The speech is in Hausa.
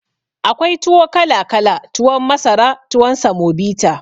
Akwai tuwo kala kala tuwon masara tuwon samobita